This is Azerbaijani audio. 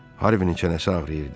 Harvinin çənəsi ağrıyırdı.